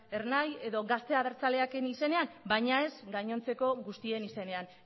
ernai edo gazte abertzaleaken izenean baina ez gainontzeko guztien izenean